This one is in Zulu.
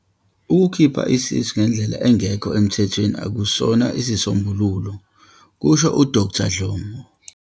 Ukukhipha isisu ngendlela engekho emthethweni akusona isisombululo," kusho uDkt Dhlomo.